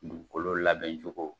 Dugukolo labɛn cogo.